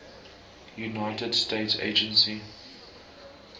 united states agency